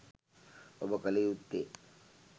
ඔබ කළ යුත්තේ